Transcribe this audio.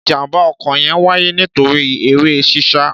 Ìjàḿbà ọ̀kó yẹn wàyé nitori ere sísà